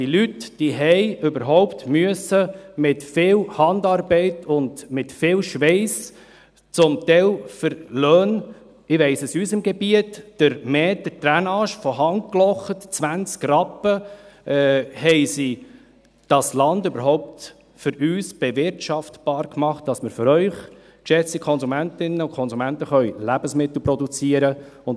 Diese Leute machten, ich weiss es aus unserem Gebiet, mit viel Handarbeit und viel Schweiss – zum Teil für Löhne von 20 Rappen für den Meter von Hand gelochter Drainage – das Land überhaupt für uns bewirtschaftbar, damit wir für Sie, geschätzte Konsumentinnen und Konsumenten, Lebensmittel produzieren können.